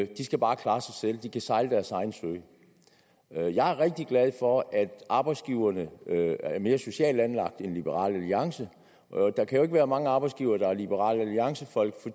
de skal bare klare sig selv de kan sejle deres egen sø jeg er rigtig glad for at arbejdsgiverne er mere socialt anlagt end liberal alliance der kan jo ikke være mange arbejdsgivere der er liberal alliancefolk